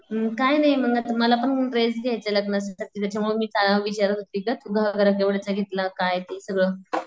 उम काय नाही मी मला पण ड्रेस घ्यायचाय लग्नासाठी त्याच्या मुळे मी विचारात होती ग तू केव्हांड्याचा घेतला काय ते सगळं.